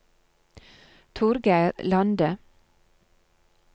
Torgeir Lande